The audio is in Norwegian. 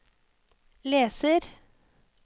leser